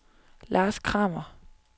Lars Kramer